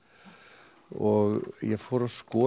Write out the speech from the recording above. og ég fór að skoða